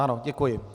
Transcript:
Ano, děkuji.